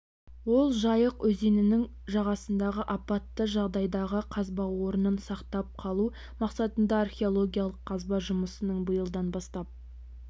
ол жайық өзенінің жағасындағы апатты жағдайдағы қазба орнын сақтап қалу мақсатындағы археологиялық қазба жұмысының биылдан бастап